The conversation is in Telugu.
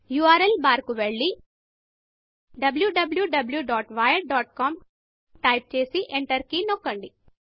ఉర్ల్ బార్కు వెళ్లి wwwwiredcom టైప్ చేసి ఎంటర్ కీ నొక్కండి